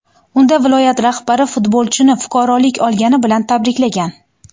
Unda viloyat rahbari futbolchini fuqarolik olgani bilan tabriklagan .